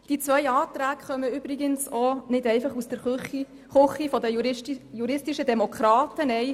Die beiden Anträge kommen übrigens auch nicht einfach aus der Küche der Demokratischen Jurist_innen.